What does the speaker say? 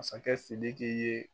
Masakɛ Sidiki ye